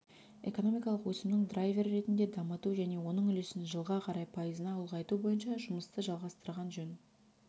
экономикалық өсімнің драйвері ретінде дамыту және оның үлесін жылға қарай пайызына ұлғайту бойынша жұмысты жалғастырған жөн